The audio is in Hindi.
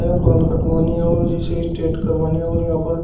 बाल कटवाने और जिसे स्ट्रेट करवाने और यहां पर--